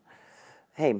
heim